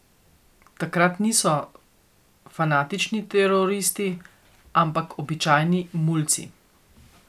Takrat niso fanatični teroristi, ampak običajni mulci.